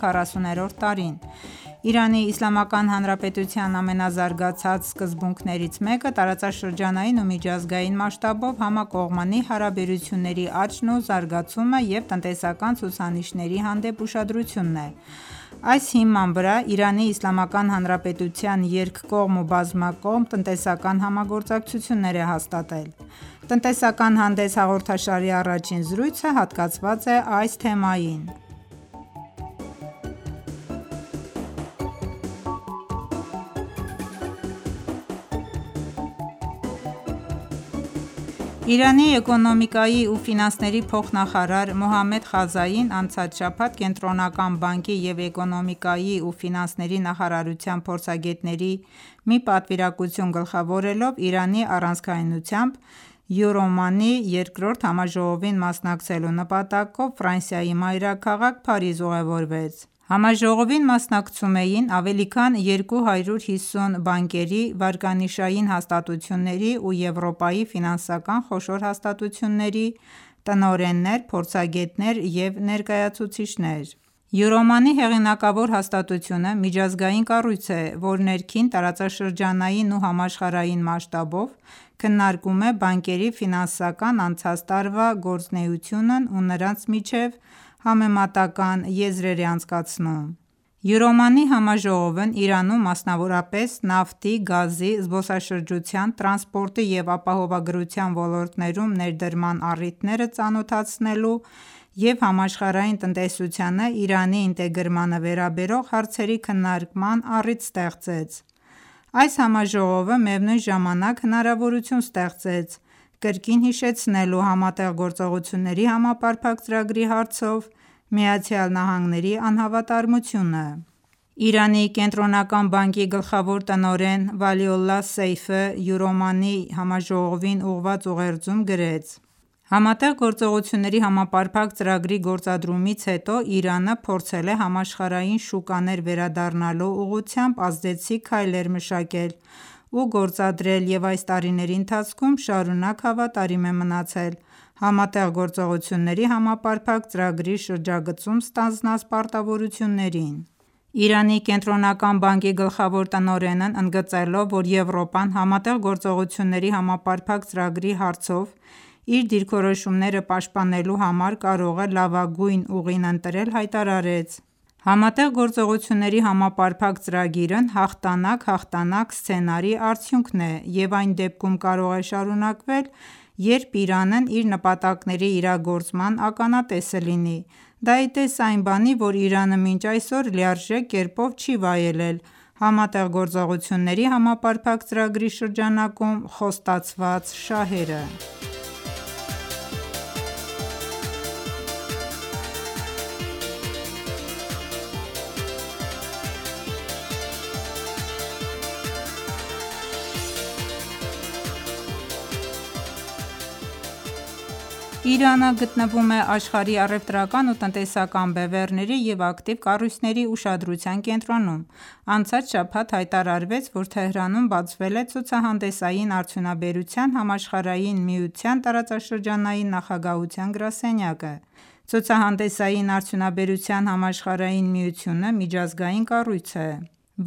40-րդ տարին: ԻԻՀ-ի ամենազարգացած սկզբունքներից մեկը տարածաշրջանային ու միջազգային մասշտաբով համակողմանի հարաբերությունների աճն ու զարգացումը և տնտեսական ցուցանիշների հանդեպ ուշադրությունն է: Այս հիման վրա ԻԻՀ-ն երկկողմ ու բազմակողմ տնտեսական համագործակցություններ է հաստատել: Տնտեսական հանդես հաղորդաշարի առաջին զրույցը հատկացված է այս թեմային: Իրանի էկոնոմիկայի ու ֆինանսների փոխնախարար Մոհամմեդ Խազային անցած շաբաթ Կենտրոնական բանկի և էկոնոմիկայի ու ֆինանսների նախարարության փորձագետների մի պատվիրակություն գլխավորելով Իրանի առանցքայնությամբ «Յուրոմանի»-ի երկրորդ համաժողովին մասնակցելու նպատակով մայրաքաղաք Փարիզ ուղևորվեց: Համաժողովին մասնակցում էին ավելի քան 250 բանկերի, վարկանիշային հաստատությունների և Եվրոպայի ֆինանսական խոշոր հաստատությունների տնօրեններ, փորձագետներ ու ներկայացուցիչներ: «Յուրոմանի» հեղինակավոր հաստատությունը միջազգային կառույց է, որ ներքին, տարածաշրջանային ու համաշխարհային մասշտաբով քննարկում է բանկերի ֆինանսական անցած տարվա գործունեությունն ու նրանց միջև համեմատական եզրեր է անցկացնում: «Յուրոմանի»-ի համաժողովն Իրանում մասնավորապես նավթի, գազի, զբոսաշրջության, տրանսպորտի և ապահովագրության ոլորտներում ներդրման առիթները ծանոթացնելու և համաշխարհային տնտեսությանն Իրանի ինտեգրմանը վերաբերող հարցերի քննարկման առիթ ստեղծեց: Այս համաժողովը միևնույն ժամանակ հնարավորություն ստեղծեց կրկին հիշեցնելու ՀԳՀԾ-ի հարցով ԱՄՆ-ի անհավատարմությունը: Իրանի Կենտրոնական բանկի գլխավոր տնօրեն Վալիոլլահ Սեյֆը «Յուրոմանի»-ի համաժողովին ուղղված ուղերձում, գրեց. «ՀԳՀԾ-ի գործադրումից հետո Իրանը փորձել է համաշխարհային շուկաներ վերադառնալու ուղղությամբ ազդեցիկ քայլեր մշակել ու գործադրել և այս տարիների ընթացքում շարունակ հավատարիմ է մնացել ՀԳՀԾ-ի շրջագծում ստանձնած պարտավորություններին»: Իրանի Կենտրոնական բանկի գլխավոր տնօրենն ընդգծելով, որ Եվրոպան ՀԳՀԾ-ի հարցով իր դիրքորոշումները պաշտպանելու համար կարող է լավագույն ուղին ընտրել, հայտարարեց. «ՀԳՀԾ-ն հաղթանակ-հաղթանակ սցենարի արդյունքն է և այն դեպքում կարող է շարունակվել, երբ Իրանն իր նպատակների իրագործման ականատես լինի: Դա ի տես այն բանի, որ Իրանը մինչ այսօր լիարժեք կերպով չի վայելել ՀԳՀԾ-ի շրջանակում խոստացված շահերը»: Իրանը գտնվում է աշխարհի առևտրական ու տնտեսական բևեռների ու ակտիվ կառույցների ուշադրության կենտրոնում: Անցած շաբաթ հայտարարվեց, որ Թեհրանում բացվել է ցուցահանդեսային արդյունաբերության համաշխարհային միության տարածաշրջանային նախագահության գրասենյակը: Ցուցահանդեսային արդյունաբերության համաշխարհային միությունը (UFI) միջազգային կառույց է,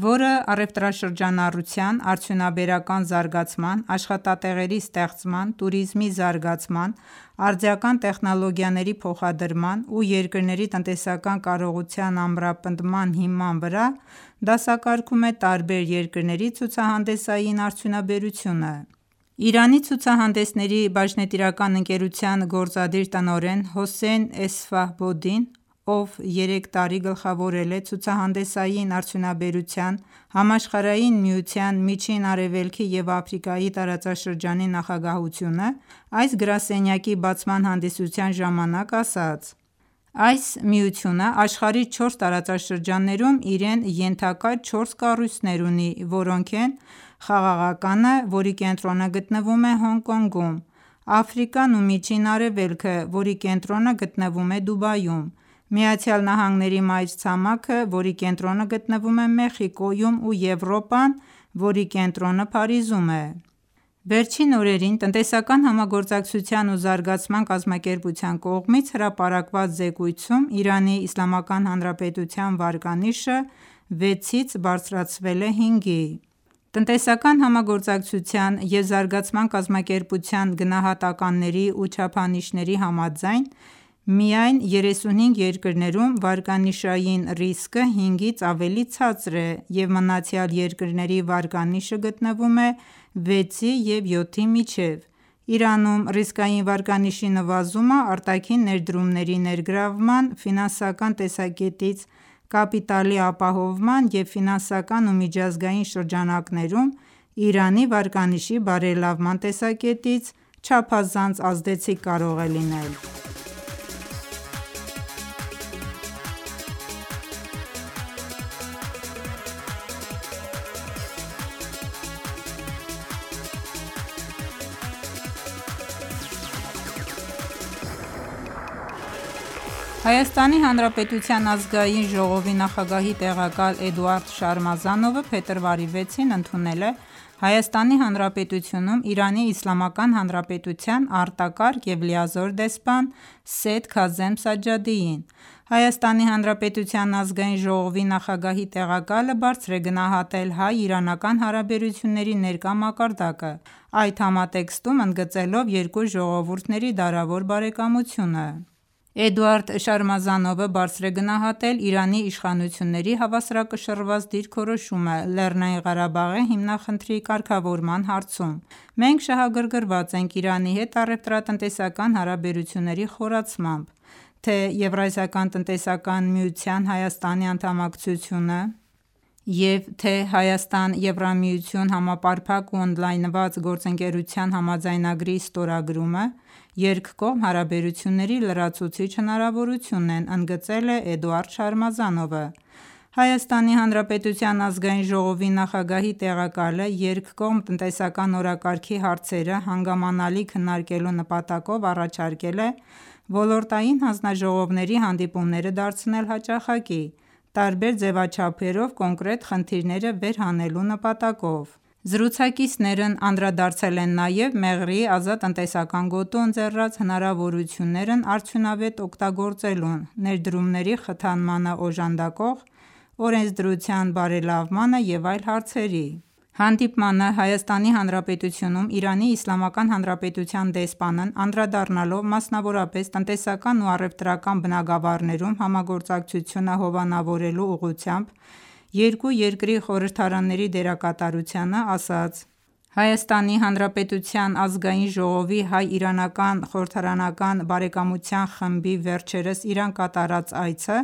որը առևտրաշրջանառության, արդյունաբերական զարգացման, աշխատատեղերի ստեղծման, տուրիզմի զարգացման, արդիական տեխնոլոգիաների փոխադրման և երկրների տնտեսական կարողության ամրապնդման հիման վրա դասակարգում է տարբեր երկրների ցուցահանդեսային արդյունաբերությունը: Իրանի Ցուցահանդեսների բաժնետիրական ընկերության գործադիր տնօրեն Հոսեյն Էսֆահբոդին, ով երեք տարի գլխավորել է Ցուցահանդեսային արդյունաբերության համաշխարհային միության Միջին Արևելքի և Աֆրիկայի տարածաշրջանի նախագահությունը, այս գրասենյակի բացման հանդիսության ժամանակ ասաց. «Այս միությունն աշխարհի չորս տարածաշրջաններում իրեն ենթակա չորս կառույցներ ունի, որոնք են՝ Խաղաղականը, որի կենտրոնը գտնվում է Հոնկ-Կոնգում, Աֆրիկան ու Միջին Արևելքը, որի կենտրոնը գտնվում է Դուբայում, ԱՄՆ-ի մայրցամաքը, որի կենտրոնը գտնվում է Մեխիկոյում և Եվրոպան, որի կենտրոնը Փարիզում է»: Վերջին օրերին Տնտեսական համագործակցության ու զարգացման կազմակերպության կողմից հրապարակված զեկույցում ԻԻՀ-ի վարկանիշը 6-ից բարձրացվել է 5-ի: Տնտեսական համագործակցության և զարգացման կազմակերպության գնահատականների ու չափանիշների համաձայն միայն 35 երկրներում վարկանիշային ռիսկը 5-ից ավելի ցածր է և մնացյալ երկրների վարկանիշը գտնվում է 6-ի և 7-ի միջև: Իրանում ռիսկային վարկանիշի նվազումը արտաքին ներդրումների ներգրավման, ֆինանսական տեսակետից կապիտալի ապահովման և ֆինանսական ու միջազգային շրջանակներում Իրանի վարկանիշի բարելավման տեսակետից չափազանց ազդեցիկ կարող է լինել: ՀՀ ԱԺ փոխխոսնակն ընդգծեց ԻԻՀ-ի հետ երկկողմ համագործակցությունների ընդլայնման նշանակությունը: ՀՀ ԱԺ նախագահի տեղակալ Էդուարդ Շարմազանովը փետրվարի 6-ին ընդունել է Հայաստանի Հանրապետությունում Իրանի Իսլամական Հանրապետության արտակարգ եւ լիազոր դեսպան Սեյեդ Քազեմ Սաջադիին: ՀՀ ԱԺ նախագահի տեղակալը բարձր է գնահատել հայ-իրանական հարաբերությունների ներկա մակարդակը՝ այդ համատեքստում ընդգծելով երկու ժողովուրդների դարավոր բարեկամությունը: Էդուարդ Շարմազանովը բարձր է գնահատել Իրանի իշխանությունների հավասարակշռված դիրքորոշումը ԼՂ հիմնախնդրի կարգավորման հարցում: «Մենք շահագրգռված ենք Իրանի հետ առեւտրատնտեսական հարաբերությունների խորացմամբ: Թե՛ ԵԱՏՄ-ին Հայաստանի անդամակցությունը եւ թե ՀՀ-ԵՄ Համապարփակ ու ընդլայնված գործընկերության համաձայնագրի ստորագրումը երկկողմ հարաբերությունների լրացուցիչ հնարավորություն են»,ընդգծել է Էդուարդ Շարմազանովը: ՀՀ ԱԺ նախագահի տեղակալը երկկողմ տնտեսական օրակարգի հարցերը հանգամանալի քննարկելու նպատակով առաջարկել է ոլորտային հանձնաժողովների հանդիպումները դարձնել հաճախակի՝ տարբեր ձեւաչափերով կոնկրետ խնդիրները վեր հանելու նպատակով: Զրուցակիցներն անդրադարձել են նաեւ Մեղրիի ազատ տնտեսական գոտու ընձեռած հնարավորություններն արդյունավետ օգտագործելուն, ներդրումների խթանմանն օժանդակող օրենսդրության բարելավմանը եւ այլ հարցերի: Հանդիպման ժամանակ ՀՀ-ում ԻԻՀ դեսպանն անդրադառնալով մասնավորապես տնտեսական ու առևտրական բնագավառներում համագործակցությունը հովանավորելու ուղղությամբ երկու երկրի խորհրդարանների դերակատարությանը, ասաց. «ՀՀ ԱԺ-ի հայ-իրանական խորհրդարանական բարեկամության խմբի վերջերս Իրան կատարած այցը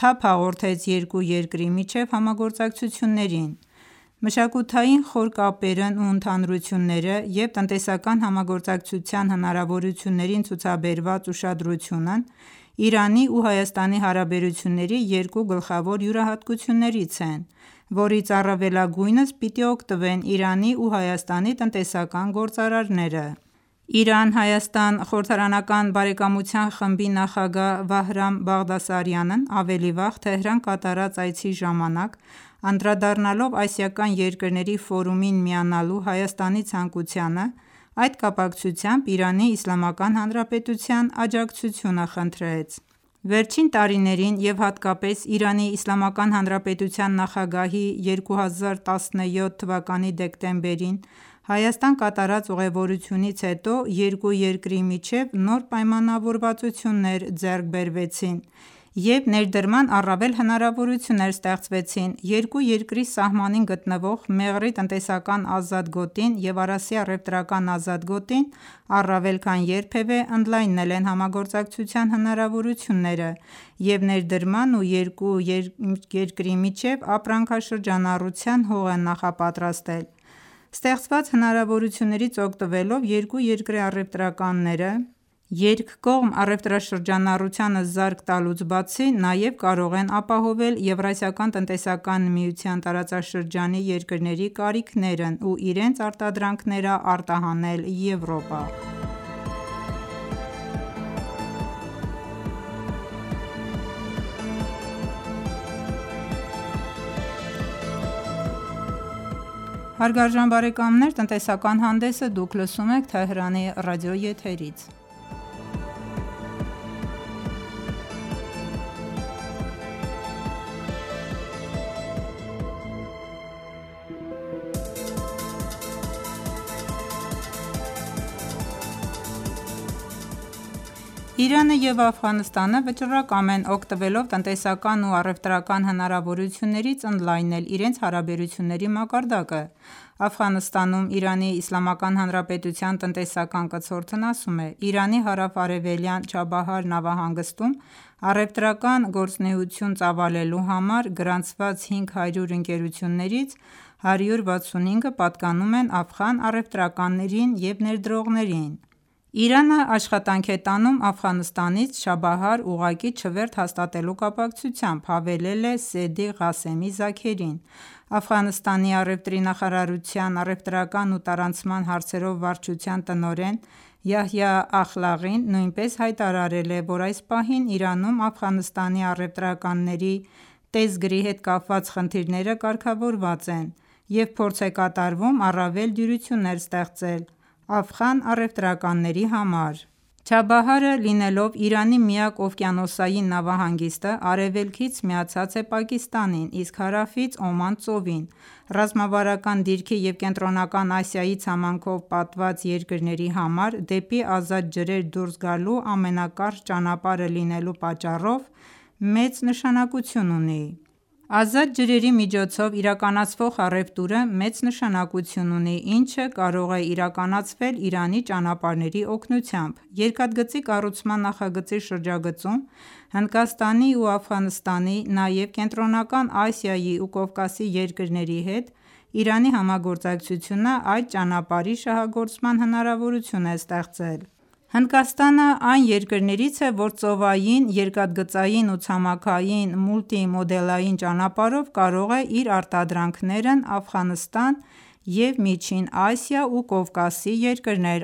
թափ հաղորդեց երկու երկրի միջև համագործակցություններին»: Մշակութային խոր կապերն ու ընդհանրությունները և տնտեսական համագործակցության հնարավորություններին ցուցաբերված ուշադրությունն Իրանի ու Հայաստանի հարաբերությունների երկու գլխավոր յուրահատկություններից են, որից առավելագույնս պիտի օգտվեն Իրանի ու Հայաստանի տնտեսական գործարարները: Իրան-Հայաստան խորհրդարանական բարեկամության խմբի նախագահ Վահրամ Բաղդասարյանն ավելի վաղ Թեհրան կատարած այցի ժամանակ անդրադառնալով Ասիական երկրների ֆորումին միանալու Հայաստանի ցանկությանը, այդ կապակցությամբ ԻԻՀ-ի աջակցությունը խնդրեց: Վերջին տարիներին և հատկապես ԻԻՀ նախագահի 2017 թվականի դեկտեմբերին Հայաստան կատարած ուղևորությունից հետո երկու երկրի միջև նոր պայմանավորվածություններ ձեռք բերվեցին և ներդրման առավել հնարավորություններ ստեղծվեցին: Երկու երկրի սահմանին գտնվող Մեղրի տնտեսական ազատ գոտին և Արասի առևտրական ազատ գոտին առավել քան երբևէ ընդլայնել են համագործակցության հնարավորությունները և ներդրման ու երկու միջև ապրանքաշրջանառության հող են նախապատրաստել: Ստեղծված հնարավորություններից օգտվելով երկու երկրի առևտրականները երկկողմ առևտրաշրջանառությանը զարկ տալուց բացի նաև կարող են ապահովել ԵԱՏՄ-ի տարածաշրջանի երկրների կարիքներն ու իրենց արտադրանքները Եվրոպա արտահանել: Իրանն ու Աֆղանստանը վճռակամ են օգտվելով տնտեսական ու առևտրական հնարավորություններից ընդլայնել իրենց հարաբերությունների մակարդակը: Աֆղանստանում ԻԻՀ տնտեսական կցորդն ասում է. «Իրանի հարավ-արևելյան Չաբահար նավահանգստում առևտրական գործունեություն ծավալելու համար գրանցված 500 ընկերություններից 165-ը պատկանում են աֆղան առևտրականներին ու ներդրողներին»: «Իրանն աշխատանք է տանում Աֆղանստանից Չաբահար ուղղակի չվերթ հաստատելու կապակցությամբ»,-հավելել է Սեդիղ Ղասեմի Զաքերին: Աֆղանստանի առևտրի նախարարության առևտրական ու տարանցման հարցերով վարչության տնօրեն Յահյա Ախլաղին նույնպես հայտարարել է, որ այս պահին Իրանում Աֆղանստանի առևտրականների տեսգրի հետ կապված խնդիրները կարգավորված են և փորձ է կատարվում առավել դյուրություններ ստեղծել աֆղան առևտրականների համար: Չաբահարը լինելով Իրանի միակ օվկիանոսային նավահանգիստը արևելքից միացած է Պակիստանին, իսկ հարավից Օման ծովին: Ռազմավարական դիրքի և Կենտրոնական Ասիայի ցամաքով պատված երկրների համար դեպի ազատ ջրեր դուրս գալու ամենակարճ ճանապարհը լինելու պատճառով մեծ նշանակություն ունի: Ազատ ջրերի միջոցով իրականացվող առևտուրը մեծ նշանակություն ունի, ինչը կարող է իրականացվել Իրանի ճանապարհների օգնությամբ: Երկաթգծի կառուցման նախագծի շրջագծում Հնդկաստանի ու Աֆղանստանի, նաև Կենտրոնական Ասիայի ու Կովկասի երկրների հետ Իրանի համագործակցությունը այդ ճանապարհի շահագործման հնարավորություն է ստեղծել: Հնդկաստանն այն երկրներից է, որ ծովային, երկաթգծային ու ցամաքային մուլտիմոդալային ճանապարհով կարող է իր արտադրանքներն Աֆղանստան և Միջին Ասիայի ու Կովկասի երկրներ